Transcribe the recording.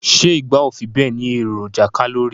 Se igba o fi be ni eroja kalori